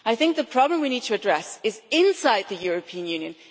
I think the problem we need to address is inside the European Union.